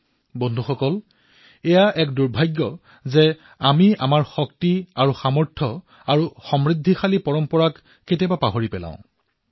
বন্ধুসকল এয়া আমাৰ দুৰ্ভাগ্য যে বহু সময়ত আমি নিজৰ শক্তি আৰু সমৃদ্ধ পৰম্পৰা চিনি পোৱাত অস্বীকাৰ কৰো